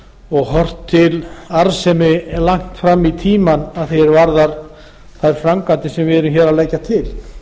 og horft til arðsemi langt fram í tímann að því er varðar þær framkvæmdir sem við erum hér að leggja til